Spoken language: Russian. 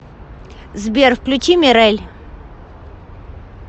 сбер включи мирэль